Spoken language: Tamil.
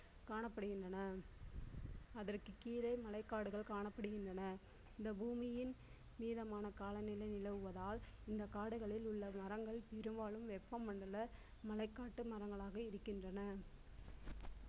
காணப்படுகின்றன அதற்கு கீழே மழை காடுகள் காணப்படுகின்றன இந்த பூமியின் நீளமான காலநிலை நிலவுவதால் இந்த காடுகளில் உள்ள மரங்கள் பெரும்பாலும் வெப்ப மண்டல மலைக்காட்டு மரங்களாக இருக்கின்றன